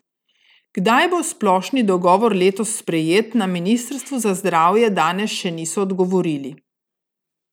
Kdaj bo splošni dogovor letos sprejet, na ministrstvu za zdravje danes še niso odgovorili.